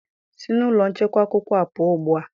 Si na ụlọ nchekwa akwụkwọ a pụọ ugbu a!